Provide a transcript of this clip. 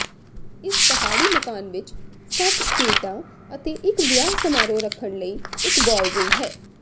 ਇਸ ਪਹਾੜੀ ਮਕਾਨ ਵਿਚ ਸੱਤ ਸੂਈਟਾਂ ਅਤੇ ਇਕ ਵਿਆਹ ਸਮਾਰੋਹ ਰੱਖਣ ਲਈ ਇਕ ਬਾਲਰੂਮ ਹੈ